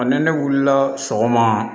Ɔ ni ne wulila sɔgɔma